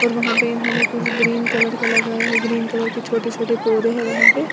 और वहां पर इन्होंने कुछ ग्रीन कलर का लगाया है ग्रीन कलर के छोटे छोटे पौधे हैं वहां पे।